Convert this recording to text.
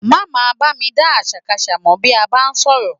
Má máa bá mi dá àṣàkaṣà mọ bí a bá ń sọ̀rọ̀